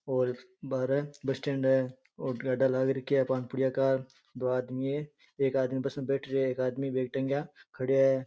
और बाहरे bus stand है और गाढ़ा लाग रख्या है पान पुड़िया का दो आदमी है एक आदमी बस में बैठ रियो है एक आदमी खड़िया है।